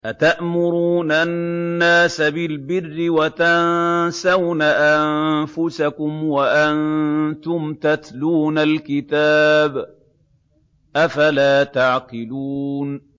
۞ أَتَأْمُرُونَ النَّاسَ بِالْبِرِّ وَتَنسَوْنَ أَنفُسَكُمْ وَأَنتُمْ تَتْلُونَ الْكِتَابَ ۚ أَفَلَا تَعْقِلُونَ